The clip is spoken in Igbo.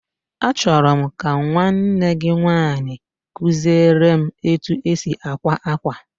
A chọrọ m ka nwanne gị nwaanyị kuziele m etu e si akwa akwa.